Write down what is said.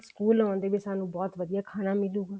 school ਆਉਂਦੇ ਨੇ ਵੀ ਸਾਨੂੰ ਬਹੁਤ ਵਧੀਆ ਖਾਣਾ ਮਿਲੁ